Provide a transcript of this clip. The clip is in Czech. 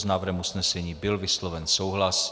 S návrhem usnesení byl vysloven souhlas.